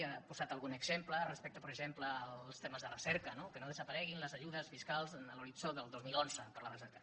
ha posat algun exemple respecte per exemple als temes de recerca no que no desapareguin les ajudes fiscals en l’horitzó del dos mil onze per a la recerca